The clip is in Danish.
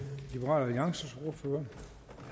mange